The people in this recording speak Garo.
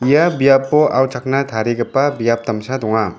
ia biapo auchakna tarigipa biap damsa donga.